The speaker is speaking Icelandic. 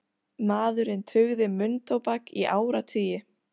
Maðurinn tuggði munntóbak í áratugi